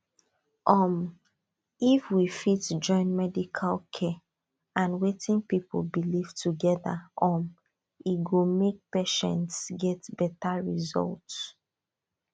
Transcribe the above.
um if we fit join medical care and wetin people believe together um e go make patients get better result